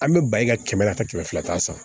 An bɛ ba i ka kɛmɛ nata kɛmɛ fila ta san